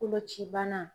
Koloci bana